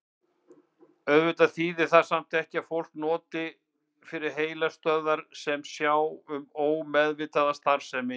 Auðvitað þýðir það samt ekki að fólk noti ekki heilastöðvar sem sjá um ómeðvitaða starfsemi.